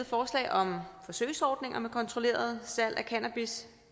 forslag om forsøgsordninger med kontrolleret salg af cannabis